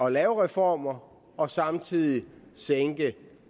at lave reformer og samtidig sænke